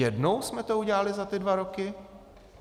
Jednou jsme to udělali za ty dva roky?